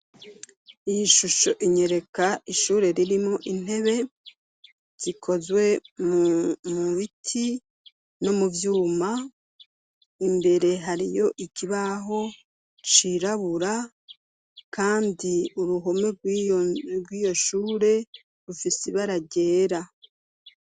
Iyi shusho inyereka ishure ririmo intebe zikozwe mu biti no muvyuma. Imbere hariyo ikibaho cirabura, kandi uruhome rw'iyo shure rufisi ibara ryera.